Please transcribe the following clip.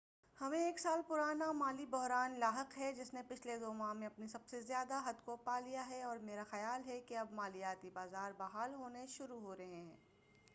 ہمیں ایک سال پرانا مالی بحران لاحق ہے جس نے پچھلے دو ماہ میں اپنی سب سے زیادہ حد کو پالیا ہے اور میرا خیال ہے کہ اب مالیاتی بازار بحال ہونا شروع ہورہے ہیں